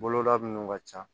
Bolola minnu ka ca